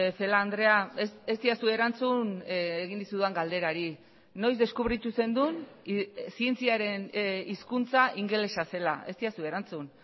celaá andrea ez didazu erantzun egin dizudan galderari noiz deskubritu zenuen zientziaren hizkuntza ingelesa zela ez didazu erantzun